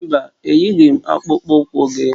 Mba, eyighị m akpụkpọ ụkwụ gị